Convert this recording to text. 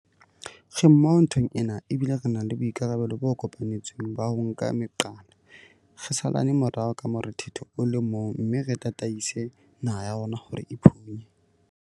Re mmoho nthong ena, ebile re na le boikarabelo bo kopanetsweng ba ho nka meqala, re salane morao ka morethetho o le mong mme re tataise naha ya rona hore e phunye.